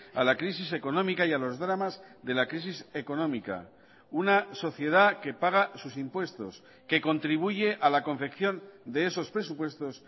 a la crisis económica y a los dramas de la crisis económica una sociedad que paga sus impuestos que contribuye a la confección de esos presupuestos